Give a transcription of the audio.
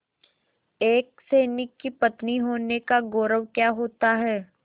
एक सैनिक की पत्नी होने का गौरव क्या होता है